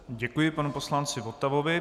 Děkuji panu poslanci Votavovi.